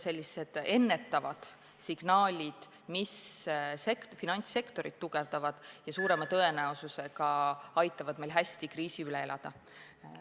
Sellised ennetavad signaalid tugevdavad finantssektorit ja suure tõenäosusega aitavad meil hästi kriisi üle elada.